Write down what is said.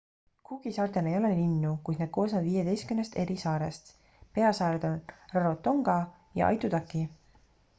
cooki saartel ei ole linnu kuid need koosnevad 15 eri saarest peasaared on rarotonga ja aitutaki